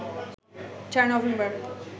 ৪ November